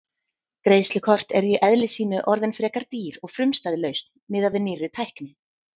Greiðslukort eru í eðli sínu orðin frekar dýr og frumstæð lausn miðað við nýrri tækni.